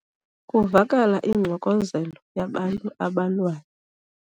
Kuvakala ingxokozelo yabantu abalwayo.